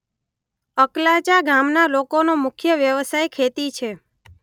અકલાચા ગામના લોકોનો મુખ્ય વ્યવસાય ખેતી છે.